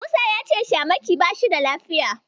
Musa ya ce Shamaki bashi da lafiya.